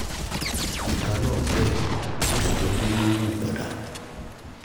ìka náà dẹ̀ ó sì jọ pé yóò hù padà